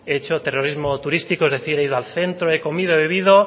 he hecho terrorismo turístico es decir he ido al centro he comido he bebido